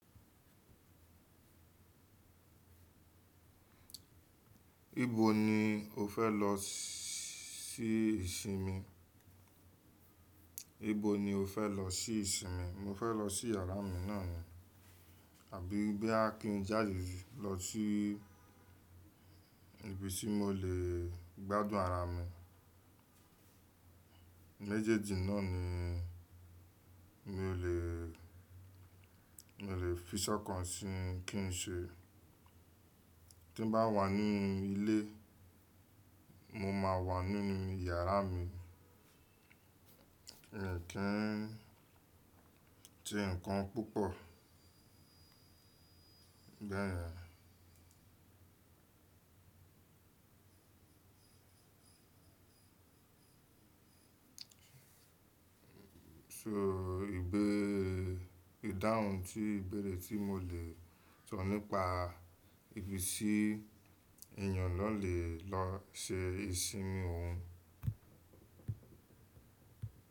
Ibo ni o fẹ́ lọ sí ìsinmi? Ibo ni o fẹ́ lọ sí ìsinmi? Mo fẹ́ lọ sí yàrá mi náà ni. Àbí bóyá kí n jáde lọ sí ibi tí mo lè gbádùn ara mi. Méjèèjì náà ni mi ò lè, mi ò lè fi sọ́kàn sí kí n ṣe. Tí ń bá wà ní ilé, mo máa wà nínú iyàrá mi, mi ò kí n ṣe ǹkan púpọ̀ bẹyẹn. So ìgbé ìdáhùn tí ìbéèrè tí mo lè sọ nípa ibi tí èyàn lọ lè lọ ṣe ìsinmi òun.